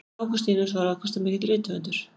Ágústínus var afkastamikill rithöfundur.